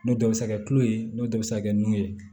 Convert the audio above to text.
N'o dɔ bɛ se kɛ tulo ye n'o dɔ bɛ se ka kɛ nun ye